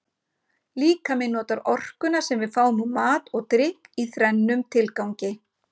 Líkaminn notar orkuna sem við fáum úr mat og drykk í þrennum tilgangi.